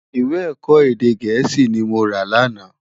Iwé èkò édé gèési ni mó rá làná